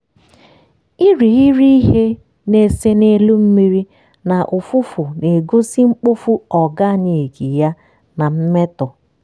irighiri ihe na-ese n'elu mmiri na ụfụfụ na-egosi mkpofu organic ya na mmetọ